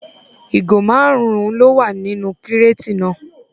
ìgò márùn-ún ló wà nínú kíràtì náà